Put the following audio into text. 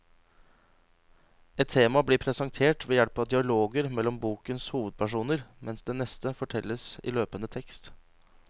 Ett tema blir presentert ved hjelp av dialoger mellom bokens hovedpersoner, mens det neste fortelles i løpende tekst.